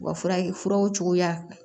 U ka furaw cogoya